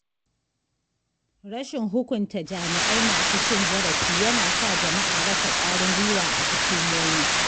Rashin hukunta jami’ai masu cin zarafi yana sa jama’a rasa ƙwarin gwiwa a hukumomi.